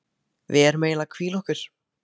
Við erum eiginlega að hvíla okkur.